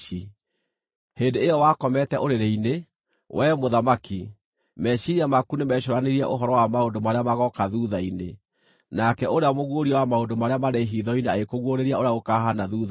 “Hĩndĩ ĩyo wakomete ũrĩrĩ-inĩ, wee mũthamaki, meciiria maku nĩmecũũranirie ũhoro wa maũndũ marĩa magooka thuutha-inĩ, nake ũrĩa mũguũria wa maũndũ marĩa marĩ hitho-inĩ agĩkũguũrĩria ũrĩa gũkaahaana thuutha-inĩ.